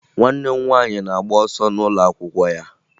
Nwanne m nwaanyị na-agba ọsọ n'ụlọakwụkwọ ya